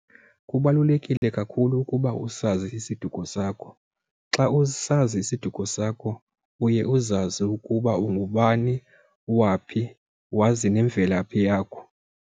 Kubalulekile kakhulu ukuba usazi isiduko sakho. Xa usazi isiduko sakho uye uzazi ukuba ungubani, waphi, wazi nemvelaphi yakho.